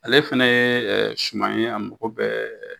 Ale fɛnɛ ye suman ye a mago bɛ